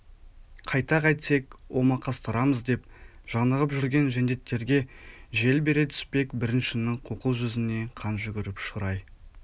қайта қайтсек омақастырамыз деп жанығып жүрген жендеттерге жел бере түспек біріншінің қуқыл жүзіне қан жүгіріп шырай